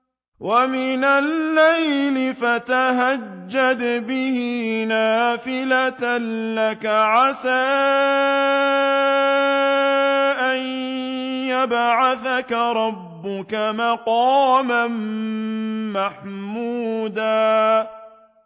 وَمِنَ اللَّيْلِ فَتَهَجَّدْ بِهِ نَافِلَةً لَّكَ عَسَىٰ أَن يَبْعَثَكَ رَبُّكَ مَقَامًا مَّحْمُودًا